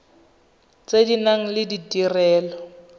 tse di nang le ditirelo